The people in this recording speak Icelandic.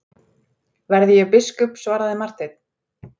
Verði ég biskup, svaraði Marteinn.